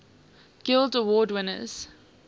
guild award winners